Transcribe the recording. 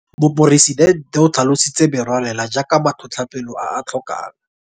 Moporesidente o tlhalositse merwalela jaaka matlhotlhapelo a a tlhokang.